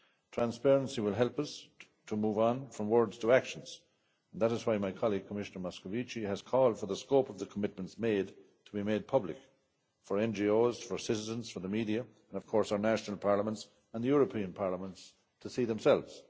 Transparency will help us to move on from words to action, and that is why my colleague Commissioner Moscovici has called for the scope of the commitments given to be made public, for NGOs, for citizens, for the media and, of course, for our national parliaments and the European Parliament to see for themselves.